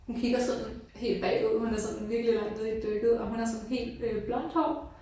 Hun kigger sådan helt bagud hun er sådan virkelig langt nede i dykket og hun har sådan helt øh blond hår